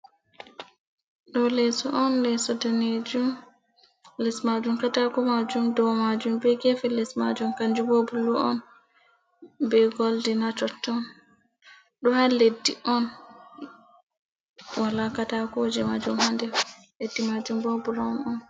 Ɗo leeso on leeso danejum les majum katako majum dow majum be gefe les majum kanju bo bulu on be goldin ha totton, ɗo ha leddi on wala katakoje majum ha nder leddi majun bo burawon on.